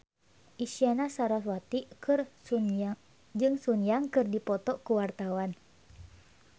Isyana Sarasvati jeung Sun Yang keur dipoto ku wartawan